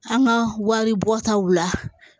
An ka wari bɔtaw la